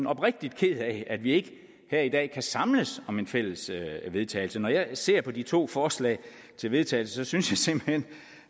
oprigtig ked af at vi ikke her i dag kan samles om en fælles vedtagelse når jeg ser på de to forslag til vedtagelse synes jeg simpelt hen